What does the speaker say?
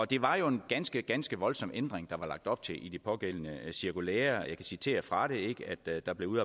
det var jo en ganske ganske voldsom ændring der var lagt op til i det pågældende cirkulære jeg kan citere fra det der blev